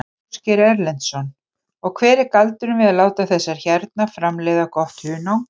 Ásgeir Erlendsson: Og hver er galdurinn við að láta þessar hérna framleiða gott hunang?